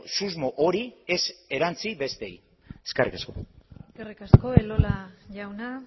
susmo hori ez erantsi besteei eskerrik asko eskerrik asko elola jauna